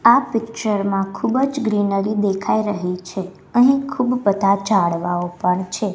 આ પિક્ચર માં ખૂબ જ ગ્રીનરી દેખાઈ રહી છે અહીં ખૂબ બધા ઝાડવાઓ પણ છે.